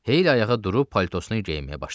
Heyli ayağa durub paltosunu geyməyə başladı.